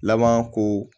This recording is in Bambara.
Laban ko